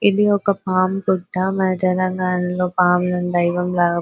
ఇది ఒక పం పుట్ట మన తెలంగాణలో పాములను దైవం లాగా --